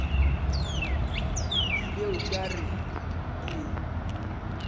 bile o ka re ke